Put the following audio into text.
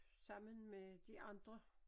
Sammen med de andre